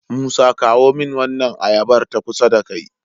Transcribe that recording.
musa kawo min wannan ayabar ta kusa da kai